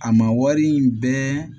A ma wari in bɛn